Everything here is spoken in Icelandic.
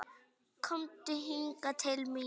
Komdu hingað til mín!